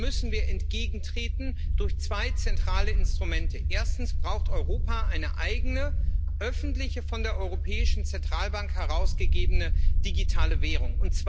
Dem müssen wir entgegentreten durch zwei zentrale Instrumente Erstens braucht Europa eine eigene öffentliche, von der Europäischen Zentralbank herausgegebene digitale Währung.